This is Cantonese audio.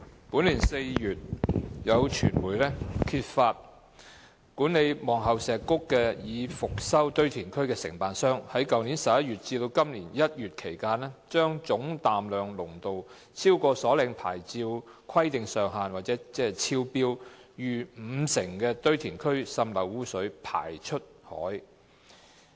本年4月，有傳媒揭發管理望后石谷已復修堆填區的承辦商在去年11月至今年1月期間，把總氮量濃度超出所領牌照規定上限逾五成的堆填區滲濾污水排放出海。